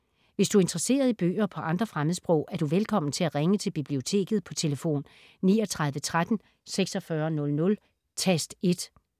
Hvis du er interesseret i bøger på andre fremmedsprog, er du velkommen til at ringe til Biblioteket på tlf. 39 13 46 00, tast 1.